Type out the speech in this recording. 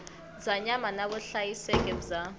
bya nyama na vuhlayiseki bya